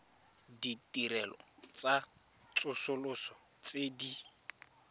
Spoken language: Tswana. ditirelo tsa tsosoloso tse di